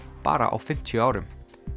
bara á fimmtíu árum